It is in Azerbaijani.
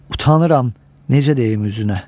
Utanıram, necə deyim üzünə?